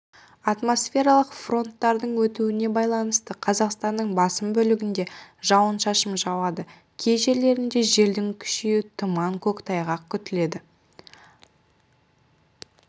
атмосфералық фронттардың өтуіне байланысты қазақстанның басым бөлігінде жауын-шашын жауады кей жерлерінде желдің күшеюі тұман көктайғақ күтіледі